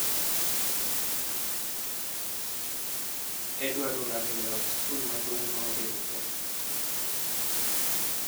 Edward olando yao skul maduong' ma oriwre